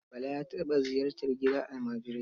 Bala ya taɓa ziyartar gidan almajirai.